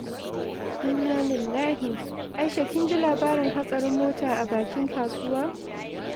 Innalillahi! Aisha, kin ji labarin hatsarin mota a bakin kasuwa?